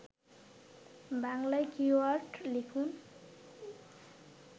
বাংলায় কীওয়ার্ড লিখুন